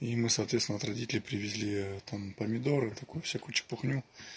и мы соответственно от родителей привезли там помидоры такую всякую ерунду